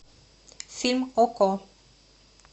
фильм окко